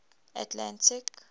atlantic